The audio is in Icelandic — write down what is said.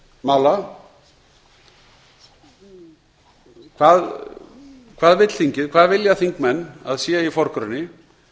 mála hvað vill þingið hvað vilja þingmenn að sé í forgrunni